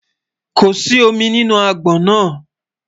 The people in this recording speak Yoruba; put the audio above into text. kò sí omí nínú agbọn nà